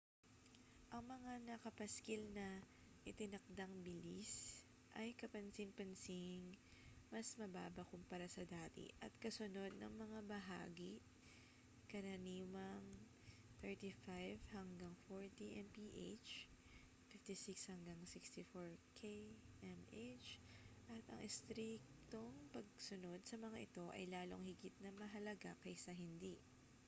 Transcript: ang mga nakapaskil na itinakdang bilis ay kapansin-pansing mas mababa kumpara sa dati at kasunod na mga bahagi — karaniwang 35-40 mph 56-64 km/h — at ang istriktong pagsunod sa mga ito ay lalong higit na mahalaga kaysa hindi